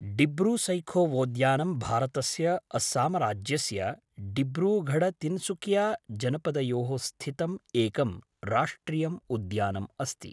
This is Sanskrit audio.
डिब्रूसैखोवोद्यानं भारतस्य अस्सामराज्यस्य डिब्रूगढ़तिनसुकियाजनपदयोः स्थितम् एकं राष्ट्रियम् उद्यानम् अस्ति।